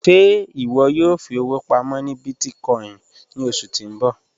Ṣẹ́ iwọ yóò fi owo pàmọ́ ni bíìtìkòìn ni ọṣu ti n bọ?